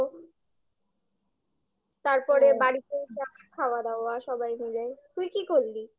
তারপরে হ্যাঁ বাড়িতে চা খাওয়া দাওয়া সবাই মিলে তুই কি করলি?